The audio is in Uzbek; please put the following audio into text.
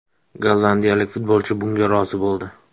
Gollandiyalik futbolchi bunga rozi bo‘ldi.